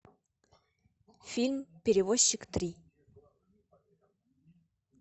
фильм перевозчик три